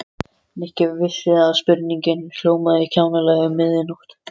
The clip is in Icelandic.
Nikki vissi að spurningin hljómaði kjánalega um miðja nótt.